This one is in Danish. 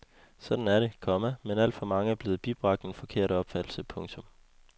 Sådan er det, komma men alt for mange er blevet bibragt en forkert opfattelse. punktum